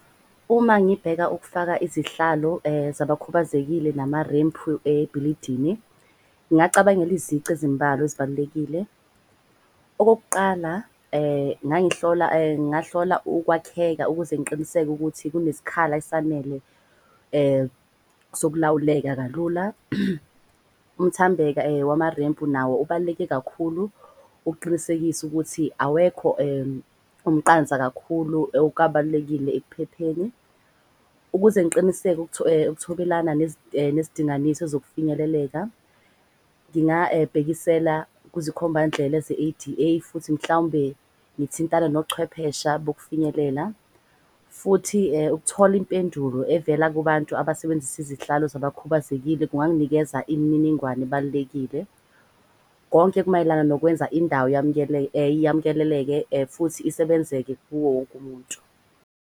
Uma ngibheka ukufaka izihlalo zabakhubazekile namarempu ebhilidini. Ngacabangela izici ezimbalwa ezibalulekile. Okokuqala, ngahlola ukwakheka ukuze ngiqiniseke ukuthi kuneskhala esanele sokulawuleka kalula. Umthambeka wamarempu nawo ubaluleke kakhulu, ukuqinisekise ukuthi awekho umqansa kakhulu okukawubalulekile ekuphepheni, ukuze ngiqiniseke ukuthobelana nezidinganiso zokufinyeleleka. Ngingawubhekisela kuzikhomba ndlela ze-A_D_A futhi mhlawumbe ngithintane nochwephesha bokufinyelelela futhi ukuthola impendulo evela kubantu abasebenzisa izihlalo zabakhubazekile. Kunganginikeza imininingwane ebalulekile konke kumayelana nokwenza indawo yamkeleleke futhi isebenzeke kuwo wonke umuntu.